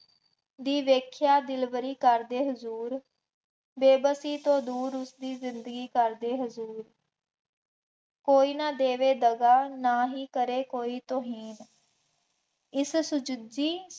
ਦੀ ਵੇਖਿਆ ਦਿਲਬਰੀ ਕਰਦੇ ਹਜ਼ੂਰ, ਬੇਵੱਸੀ ਤੋਂ ਦੂਰ ਉਸਦੀ ਜ਼ਿੰਦਗੀ ਕਰਦੇ ਹਜ਼ੂਰ, ਕੋਈ ਨਾ ਦੇਵੇ ਦਗਾ, ਨਾ ਹੀ ਕਰੇ ਕੋਈ ਤੋਹਰੀਨ, ਇਸ ਸੁਚੱਜੀ